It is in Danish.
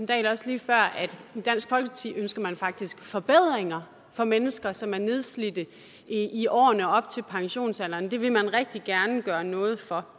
dahl også lige før at i dansk folkeparti ønsker man faktisk forbedringer for mennesker som er nedslidte i årene op til pensionsalderen dem vil man rigtig gerne gøre noget for